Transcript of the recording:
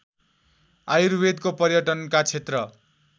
आयुर्वेदको पर्यटनका क्षेत्र